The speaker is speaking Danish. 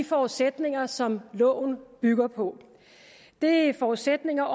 forudsætninger som loven bygger på det er forudsætninger